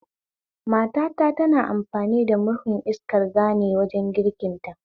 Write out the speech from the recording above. Matata tana amfani da murhun iskar gane wajen girkin ta